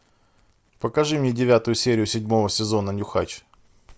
покажи мне девятую серию седьмого сезона нюхач